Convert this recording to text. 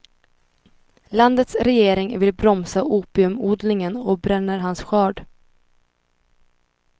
Landets regering vill bromsa opiumodlingen och bränner hans skörd.